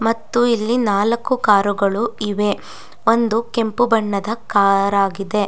ಮತ್ತು ಇಲ್ಲಿ ನಾಲಕ್ಕು ಕಾರು ಗಳು ಇವೆ ಒಂದು ಕೆಂಪು ಬಣ್ಣದ ಕಾರ್ ಆಗಿದೆ.